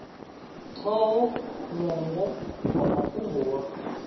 ṱhoho ṅwongo wa mafhungo wa